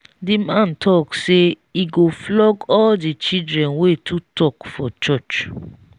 the man talk say he go flog all the children wey too talk for church